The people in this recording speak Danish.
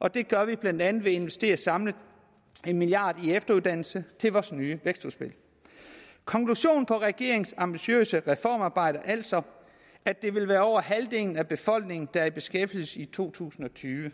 og det gør vi blandt andet ved at investere samlet en milliard kroner i efteruddannelse med vores nye vækstudspil konklusionen på regeringens ambitiøse reformarbejde er altså at det vil være over halvdelen af befolkningen der er i beskæftigelse i to tusind og tyve